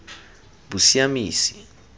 bosiamisi